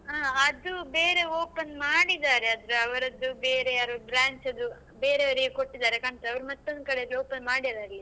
ಹ ಅದು ಬೇರೆ open ಮಾಡಿದ್ದಾರೆ ಅಂದ್ರೆ ಅವ್ರದ್ದು ಬೇರೆ ಯಾರೋ branch ದ್ದು ಬೇರೆಯವ್ರಿಗೆ ಕೊಟ್ಟಿದ್ದಾರೆ ಕಾಣ್ತದೆ ಅವ್ರು ಮತ್ತೊಂದು ಕಡೆ open ಮಾಡಿದ್ದಾರೆ ಇಲ್ಲಿ ಹಾ.